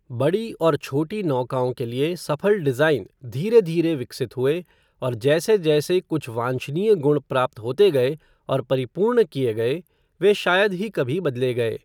बड़ी और छोटी नौकाओं के लिए सफल डिज़ाइन धीरे धीरे विकसित हुए और जैसे जैसे कुछ वांछनीय गुण प्राप्त होते गए और परिपूर्ण किए गए वे शायद ही कभी बदले गए।